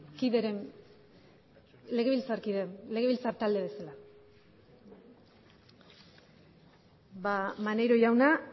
kideren legebiltzakider legebiltza talde ba maneiro jauna